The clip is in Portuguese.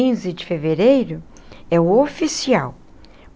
Quinze de fevereiro é o oficial.